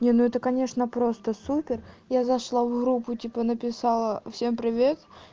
не ну это конечно просто супер я зашла в группу типа написала всем привет